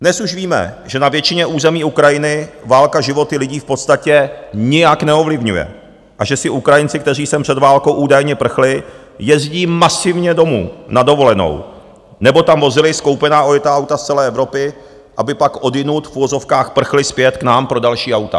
Dnes už víme, že na většině území Ukrajiny válka životy lidí v podstatě nijak neovlivňuje a že si Ukrajinci, kteří sem před válkou údajně prchli, jezdí masivně domů na dovolenou, nebo tam vozili skoupená ojetá auta z celé Evropy, aby pak odjinud v uvozovkách prchli zpět k nám pro další auta.